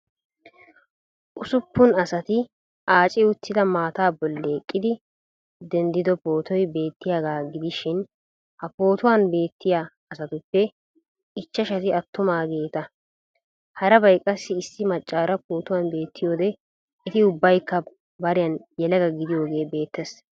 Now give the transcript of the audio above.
Usuppun asati aaci uttida maataa bolli eqqidi denddido pootoy beettiyagaa gidishin ha pootuwan beettiya asatuppe ichchashati attumaageeta. Harabay qassi issi maccaara pootuwan beettiyode eti ubbaykka bariyan yelaga gidiyogee beettes.